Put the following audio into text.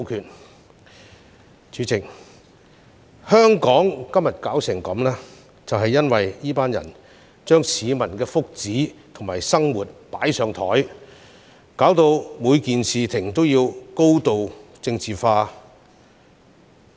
代理主席，香港弄致今天如斯境地，是因為這群人把市民的福祉和生活"擺上檯"，導致每件事情也高度政治化。